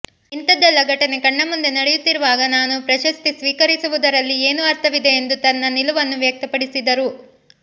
ಇಂತದ್ದೆಲ್ಲ ಘಟನೆ ಕಣ್ಣಮುಂದೆ ನಡೆಯುತ್ತಿರುವಾಗ ನಾನು ಪ್ರಶಸ್ತಿ ಸ್ವೀಕರಿಸುವುದರಲ್ಲಿ ಏನು ಅರ್ಥವಿದೆ ಎಂದು ತನ್ನ ನಿಲುವನ್ನು ವ್ಯಕ್ತಪಡಿಸಿದರು